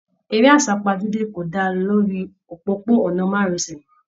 Eré asapajude kò dára lórí òpópó-ònà márosẹ̀.